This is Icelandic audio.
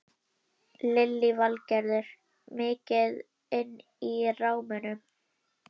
Lillý Valgerður: Mikið inn í gámnum?